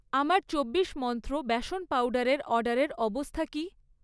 আমার চব্বিশ মন্ত্র বেসন পাউডারের অর্ডারের অবস্থা কি?